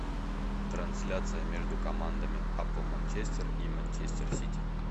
трансляция между командами апл манчестер и манчестер сити